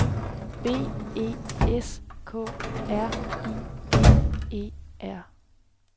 B E S K R I V E R